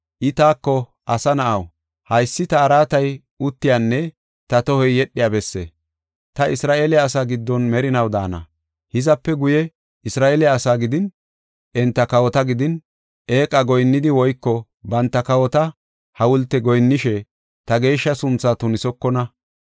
I taako, “Asa na7aw, haysi ta araatay uttiyanne ta tohoy yedhiya besse. Ta Isra7eele asaa giddon merinaw daana. Hizape guye Isra7eele asaa gidin, enta kawota gidin, eeqa goyinnidi woyko banta kawota hawulte goyinnishe ta geeshsha sunthaa tunisokona.